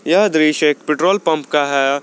यह दृश्य एक पेट्रोल पंप का है।